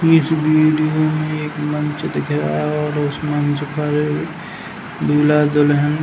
इस वीडियो में एक मंच दिख रहा है और उस मंच पर दूल्हा दुल्हन --